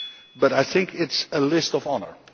But I think it is a list of honour.